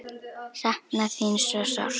Sakna þín svo sárt.